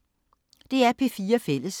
DR P4 Fælles